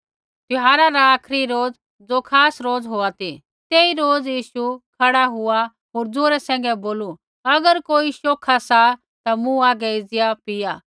त्यौहारा रा आखरी रोज ज़ो खास रोज़ होआ ती तेई रोज़ यीशु खड़ा हुआ होर जौरे सैंघै बोलू अगर कोई शौखा सा ता मूँ हागै एज़िया पिया